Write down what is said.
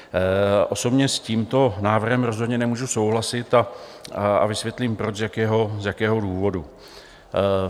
Osobně s tímto návrhem rozhodně nemůžu souhlasit a vysvětlím proč, z jakého důvodu.